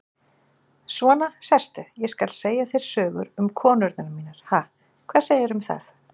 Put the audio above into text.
Svona, sestu, ég skal segja þér sögur um konurnar mínar, ha, hvað segirðu um það?